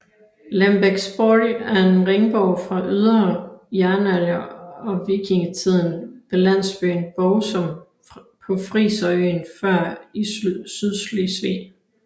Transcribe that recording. Lembeksborg er en ringborg fra yngre jernalder og vikingetiden ved landsbyen Borgsum på friserøen Før i Sydslesvig